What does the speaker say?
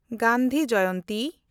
Gandhi Jayanti